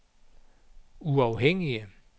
uafhængige